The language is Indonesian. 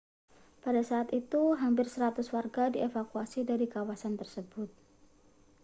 pada saat itu hampir 100 warga dievakuasi dari kawasan tersebut